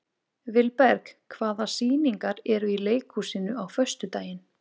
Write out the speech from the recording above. Vilberg, hvaða sýningar eru í leikhúsinu á föstudaginn?